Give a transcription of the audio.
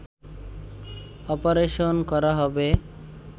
operation করা হবে